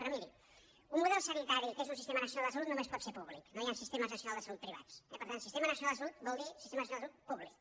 però miri un model sanitari que és un sistema nacional de salut només pot ser públic no hi han sistemes nacionals de salut privats eh per tant sistema nacional de salut vol dir sistema nacional de salut públic